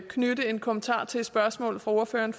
knytte en kommentar til et spørgsmål fra ordføreren